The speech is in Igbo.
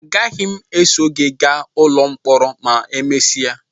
Agaghị m eso gị gaa n'ụlọ mkpọrọ ma emesịa